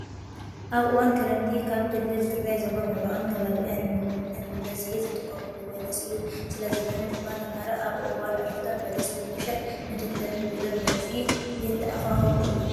ኣብ እዋን ክረምቲ ካብ ክልል ትግራይ ዞባ ምብራቅን ከባቢኣ ንምግብ ነት ብበዝሒ ዝጥቀምሉ በለስ እዩ። ስለዝኾነ ድማ ተምሃሮ ኣብ እዋን ዕረፍቶም በለስ ብምሻጥ ንደብተርን ቢሮም መግዝኢ የተኣካክቡ እዩም።